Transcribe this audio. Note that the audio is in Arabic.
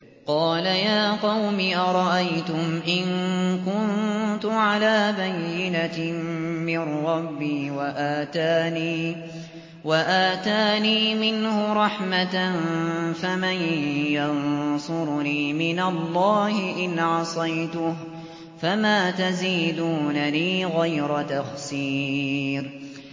قَالَ يَا قَوْمِ أَرَأَيْتُمْ إِن كُنتُ عَلَىٰ بَيِّنَةٍ مِّن رَّبِّي وَآتَانِي مِنْهُ رَحْمَةً فَمَن يَنصُرُنِي مِنَ اللَّهِ إِنْ عَصَيْتُهُ ۖ فَمَا تَزِيدُونَنِي غَيْرَ تَخْسِيرٍ